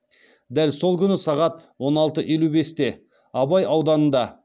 дәл сол күні сағат он алты елу бесте абай ауданында